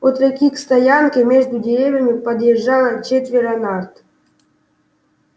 от реки к стоянке между деревьями подъезжало четверо нарт